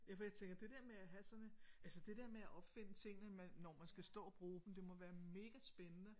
Ja for jeg tænker det der med at have sådan en altså det der med at opfinde tingene man når man skal stå og bruge dem det må være megaspændende